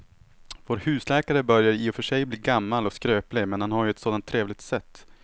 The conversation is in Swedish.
Vår husläkare börjar i och för sig bli gammal och skröplig, men han har ju ett sådant trevligt sätt!